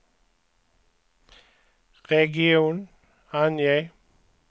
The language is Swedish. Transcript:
region, ange